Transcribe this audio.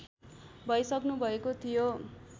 भइसक्नुभएको थियो